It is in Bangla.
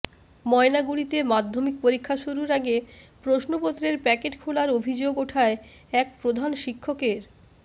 ময়নাগুড়িতে মাধ্যমিক পরীক্ষা শুরুর আগে প্রশ্নপত্রের প্যাকেট খোলার অভিযোগ ওঠায় এক প্রধান শিক্ষকের